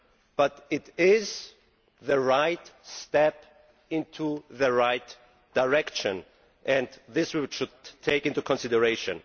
But it is the right step in the right direction, and we should take this into consideration.